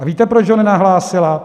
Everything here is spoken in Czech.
A víte, proč ho nenahlásila?